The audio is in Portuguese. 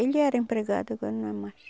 Ele era empregado, agora não é mais.